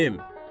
Kəndim.